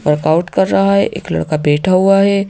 Workout कर रहा है एक लड़का बेठा हुआ है।